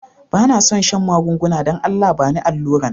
Ba na son shan magunguna, dan Allah ba ni alura'n.